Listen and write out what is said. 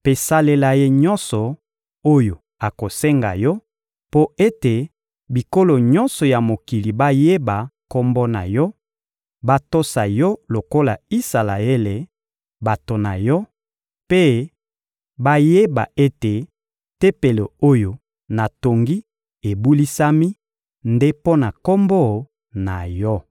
mpe salela ye nyonso oyo akosenga Yo mpo ete bikolo nyonso ya mokili bayeba Kombo na Yo, batosa Yo lokola Isalaele, bato na Yo, mpe bayeba ete Tempelo oyo natongi ebulisami nde mpo na Kombo na Yo.